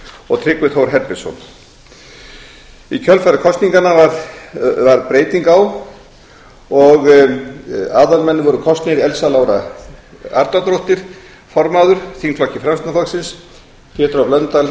og tryggvi þór herbertsson í kjölfar kosninganna varð breyting á og aðalmenn voru kosnir elsa lára arnardóttir formaður þingflokki framsóknarflokks pétur h blöndal